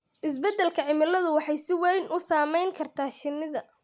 Isbeddelka cimiladu waxay si weyn u saameyn kartaa shinnida